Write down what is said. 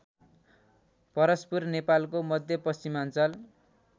परस्पुर नेपालको मध्यपश्चिमाञ्चल